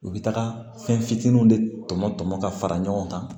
U bɛ taga fɛn fitinin de tɔmɔ tɔmɔ ka fara ɲɔgɔn kan